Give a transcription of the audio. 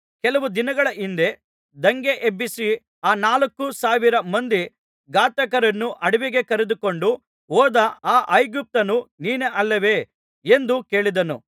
ಕೆಲವು ದಿನಗಳ ಹಿಂದೆ ದಂಗೆ ಎಬ್ಬಿಸಿ ಆ ನಾಲ್ಕು ಸಾವಿರ ಮಂದಿ ಘಾತಕರನ್ನು ಅಡವಿಗೆ ಕರೆದುಕೊಂಡು ಹೋದ ಆ ಐಗುಪ್ತ್ಯನು ನೀನೇ ಅಲ್ಲವೇ ಎಂದು ಕೇಳಿದನು